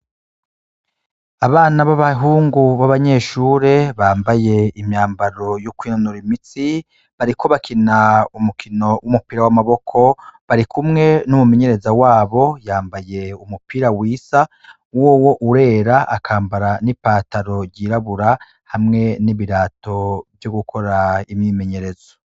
Abana b'abahungu b'abanyeshure bambaye imyambaro y'ukwinonora imitsi bariko bakina umukino w'umupira w'amaboko, barikumwe n'umumenyereza wabo yambaye umupira wisa wowo urera akambara n'ipataro ryirabura hamwe n'ibirato vyo gukora imyimenyerezo.